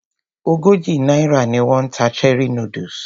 Ogójì náírà ni wón ń ta cherie noodles.